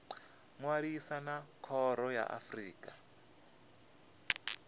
ṅwalisa na khoro ya afrika